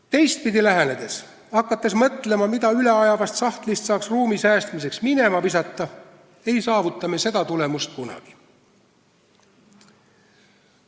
Teistpidi lähenedes, hakates mõtlema, mida üleajavast sahtlist saaks ruumi säästmiseks minema visata, ei saavuta me seda tulemust kunagi.